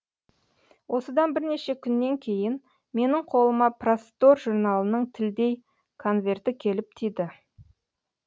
осыдан бірнеше күннен кейін менің қолыма простор журналының тілдей конверті келіп тиді